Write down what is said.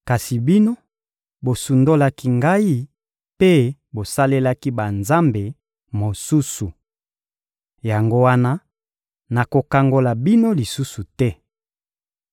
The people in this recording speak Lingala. Kasi bino, bosundolaki Ngai mpe bosalelaki banzambe mosusu. Yango wana, nakokangola bino lisusu te.